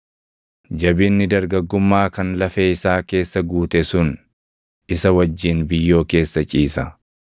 Jabinni dargaggummaa kan lafee isaa keessa guute sun, isa wajjin biyyoo keessa ciisa.